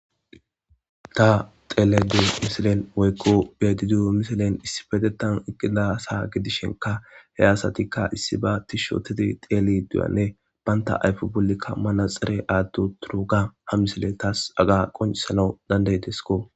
Tha xeellaydda diyo misilen woykko be7aydda diyo misilen issippetheththan eqqida asa gidishenkka he asathikka issibaa thishshe ooththidi xeelliiddi diyoogaanne banththa ayfe bollika manatsire aaththi7uththiroogaa ha misile thas qonccisanawu danddayideskko.